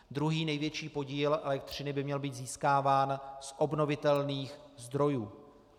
Druhý největší podíl elektřiny by měl být získáván z obnovitelných zdrojů.